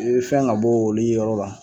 E fɛn ŋa bɔ olu yɔrɔ la